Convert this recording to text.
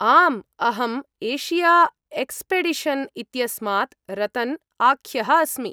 आम्, अहम्, Asia expedition इत्यस्मात् रतन् आख्यः अस्मि।